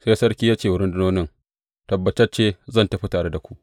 Sai sarki ya ce wa rundunonin, Tabbatacce zan tafi tare da ku.